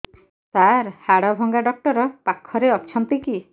ସାର ହାଡଭଙ୍ଗା ଡକ୍ଟର ପାଖରେ ଅଛନ୍ତି କି